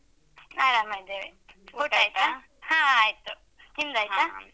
ಆರಾಮ ಇದ್ದೇವೆ. ಹಾ ಆಯ್ತು. ನಿಮ್ದಾಯ್ತಾ?